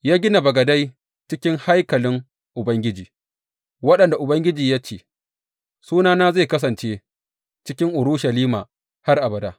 Ya gina bagadai cikin haikalin Ubangiji, waɗanda Ubangiji ya ce, Sunana zai kasance cikin Urushalima har abada.